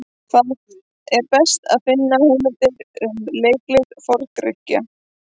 Hvar er best að finna heimildir um leiklist Forn-Grikkja?